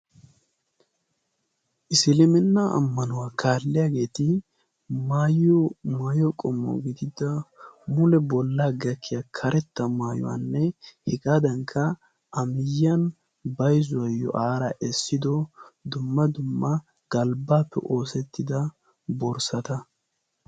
isilimenna ammanuwaa kaalliyaageeti maayiyo maayo qommo gididda mule bollaa gakkiya karetta maayuwaanne hegaadankka a miyyiyan bayzuwaayyo aara essido dumma dumma galbbaappe oosettida borssata.